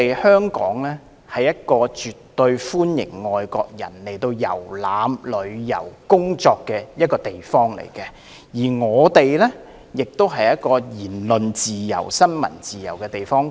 香港是一個絕對歡迎外國人前來遊覽、旅遊和工作的地方，而香港亦是一個有言論自由及新聞自由的地方。